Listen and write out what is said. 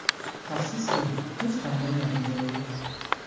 Afsuski, hech qanday natija yo‘q.